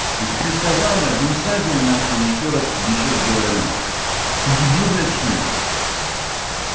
я тебе сказал блядь не высаживаю нахуй ещё раз тебе ещё раз говорю ты дебил блядь что ли